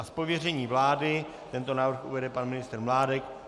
Z pověření vlády tento návrh uvede pan ministr Mládek.